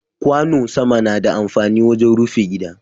Kwano sama na da amfani wajen rufi gida.